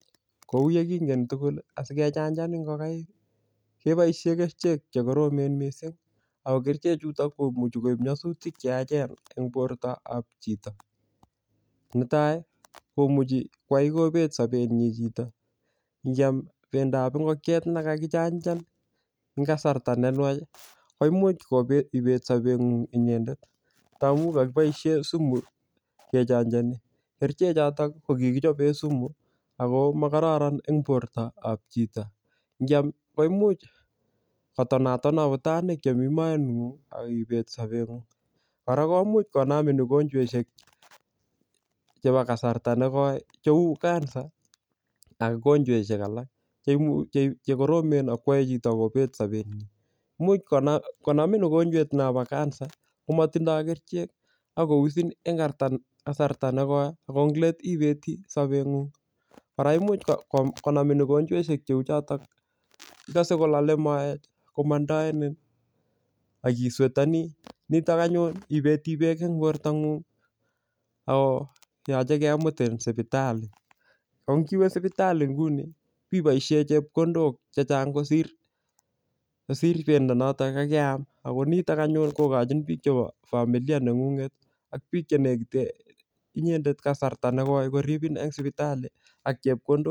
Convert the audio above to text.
Kou yekingen tugul asikechanjan ingokaik keboisien kerichek che koromen mising ago kerichechuto komuchi koip nyasutik che yachen eng bortoab chito. Netai komuchi kwai kobet sobenyin chito ngyam bendab ingokiet ne kakichanjan eng kasarta ne nwach koimuch ibet sobengung inyendet ndamun kakiboisien sumu kechanjani. Kerichechoto ko kikichoben sumu ago mogororon eng bortab chito. Ngyam koimuch kotonaton agutanik chemi moengung ak ibet sobengung. Kora koimuch konamin ugonjwaisiek chebo kasarta negoi cheu kansa ak ugonjwaisiek alak che imuch, che koromen ak kwai chito kobet sobenyi. Imuch konamin ugonjwet nobo kansa komotindoi kerichek ak kousin en kasarta negoi ago englet ibet sobengung. Kora imuch konamin ugonjwaisiek cheu chotok, igose kolole moet komandaenin, ngistenani. Nitok anyun ibete beek eng bortangung ago yoche kemutin supitali. Ko ngiwe supitali nguni biboisie chepkondok che chang kosir bendo noto kakeam ago nitok anyun kogoching biik chebo familiane ngunget ak biik che negite inyendet kasarta negoi koribin eng sipitali ak chepkondok.